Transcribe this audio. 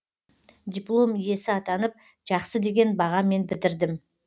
диплом иесі атанып жақсы деген бағамен бітірдім